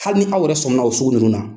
Hali ni aw yɛrɛ sɔmina o sugu nunnu na